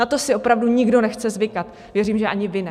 Na to si opravdu nikdo nechce zvykat, věřím, že ani vy ne.